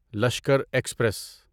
Lashkar express